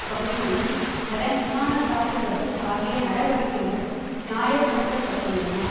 பகுதிகளிலும் அதன் விமானத்தாக்குதல்கள் ஆகிய நடவடிக்கைகள் நியாயப்படுத்தப்பட்டுள்ளன